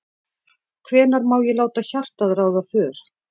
Hvenær má ég láta hjartað ráða för?